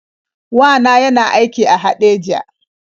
Wa na yana aiki a Haɗeja.